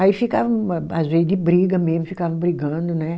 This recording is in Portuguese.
Aí ficava ma, às vezes, de briga mesmo, ficava brigando, né?